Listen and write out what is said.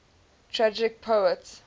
tragic poets